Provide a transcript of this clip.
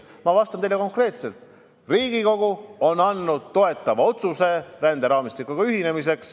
Ma vastan teile konkreetselt: Riigikogu on teinud toetava otsuse ränderaamistikuga ühineda.